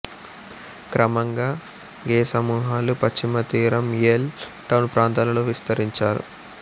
క్రమంగా గే సమూహాలు పశ్చిమతీరం యేల్ టౌన్ ప్రాంతాలలో విస్తరించారు